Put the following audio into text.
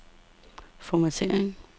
formattering